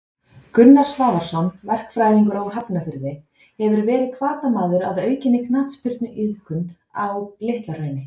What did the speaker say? Gunnar Svavarsson, verkfræðingur úr Hafnarfirði hefur verið hvatamaður að aukinni knattspyrnuiðkun á Litla Hrauni.